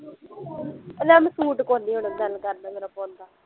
ਲੈ ਮੈਂ ਸੂਟ ਕੋਨੀ ਹੁਣ ਦਿਲ ਕਰਦਾ ਮੇਰਾ ਪਾਉਣ ਦਾ